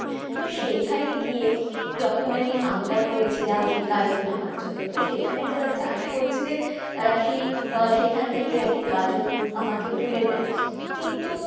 তো সেইখানে গিয়ে যখন আমি আবদার করেছিলাম সেই গাজর নেওয়ার জন্য তো সেইখানে যারা চাষ করছিলেন তারা সেই আহ সেখান থেকে আর কী গাজর আমাকে তুলে দেয় কিন্তু